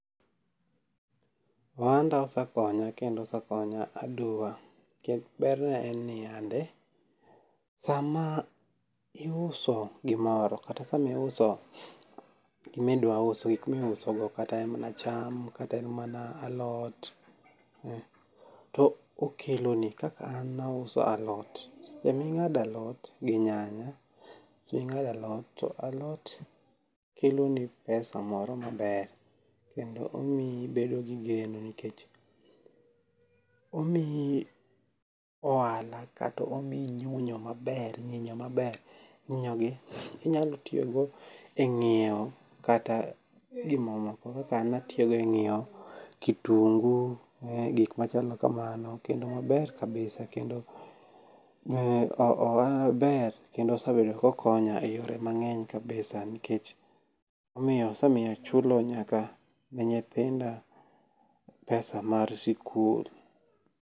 Ohanda osekonya kendo osekonya aduwa. Ber ne en ni yande. Sama iuso gimoro kata samiuso gimidwa uso gik miuso go kata en mana cham, kata en mana alot to okelo ni. Kaka an auso alot. Saming'ado alot gi nyanya, saming'ado alot to alot kelo ni pesa moro maber kendo omiyi ibedo gi geno nikech omiyi ohala kata omiyi ng'inyo maber ng'inyo maber. Ng'inyo gi inyalo tiyogo e ng'iew kata gimamoko kaka an atiyogo e ng'iew ktingu gik machalo kamani kendo maber kabisa. Kendo ohala ber kendo osebedo kokonya e yore mang'eny kabisa. Nikech omiyo osemiyo achulo nyaka ne nyithinda pesa mar sikul.